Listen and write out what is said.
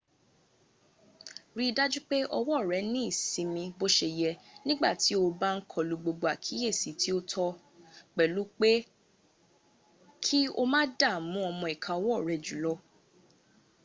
rí i dájú pé ọwọ́ rẹ ní ìsinmi bó se yẹ nígbàtí o bá ń kọlu gbogbo àkíyèsí tí ó tó - pẹ̀lú pé ki o má dààmú ọmọ ìka ọwọ́ rẹ jùlọ